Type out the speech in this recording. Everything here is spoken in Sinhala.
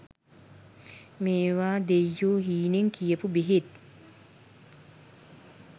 මේව දෙය්යො හීනෙන් කියපු බෙහෙත්